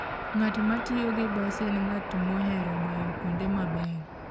Ng'at ma tiyo gi bas en ng'at mohero bayo kuonde mabeyo.